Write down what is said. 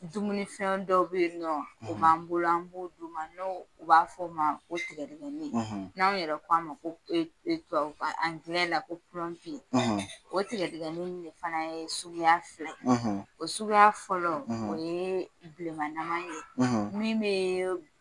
Dumunifɛn dɔw bɛ ye nɔ u b'an bolo an b'o d'u ma ni o b'a fɔ o ma ko tigɛ dɛgɛni ni anw yɛrɛ ko a ma ko tubabukan Angilɛ la ko o tigɛ dɛgɛni in de fana ye suguya fila o suguya fɔlɔ o ye bilenmanama in ye min bɛ